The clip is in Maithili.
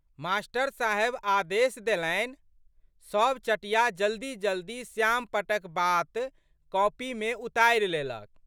मा.साहेब आदेश देलनि। सब चटिया जल्दीजल्दी श्यामपट्टक बात कॉपीमे उतारि लेलक।